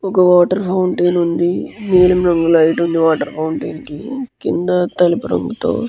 ఒక water fountain ఉంది నీలిం రంగు లైట్ ఉంది వాటర్ ఫౌంటెన్ కి కింద తెలుపు రంగు తో --